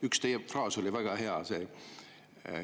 Üks teie fraas oli väga hea.